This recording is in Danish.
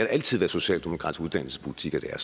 altid været socialdemokratisk uddannelsespolitik at